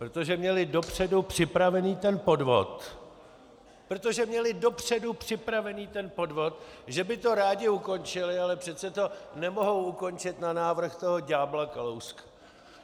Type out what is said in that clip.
Protože měli dopředu připravený ten podvod, protože měli dopředu připravený ten podvod , že by to rádi ukončili, ale přece to nemohou ukončit na návrh toho ďábla Kalouska.